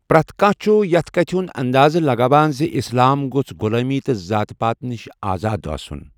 پرٛٮ۪تھ کانٛہہ چھُ یَتھ کَتھِ ہُنٛد اندازٕ لگاوان زِ اسلام گوٚژھ غۄلٲمی تہٕ ذات پات نِش آزٲد آسُن۔